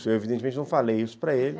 Eu, evidentemente, não falei isso para ele.